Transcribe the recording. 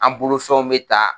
An bolo fɛnw bɛ ta